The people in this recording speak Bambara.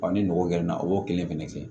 ni mɔgɔ gɛrɛ na o kelen fɛnɛ kɛ